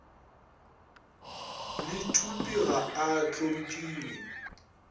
le thupe ga a hlomphiwe